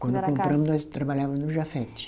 Quando compramo, nós trabalhava no Jafet.